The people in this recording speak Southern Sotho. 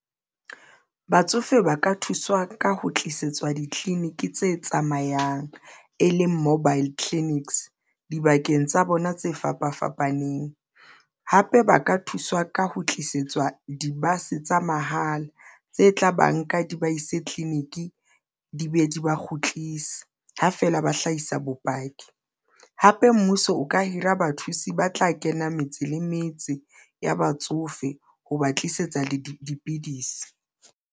Batsofe ba ka thuswa ka ho tlisetswa ditleliniki tse tsamayang tse tsamayang e leng mobile clinics dibakeng tsa bona tse fapa fapaneng, hape ba ka thuswa ka ho tlisetswa. Di-bus tsa mahala tse tla ba nka di ba ise tleliniki, di be di ba kgutlise ha feela ba hlahisa bopaki hape, mmuso o ka hira bathusi ba tla kena metse le metse ya batsofe ha ba tlisetsa le dipidisi.